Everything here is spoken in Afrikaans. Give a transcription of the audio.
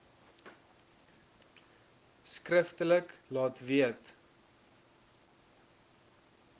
skriftelik laat weet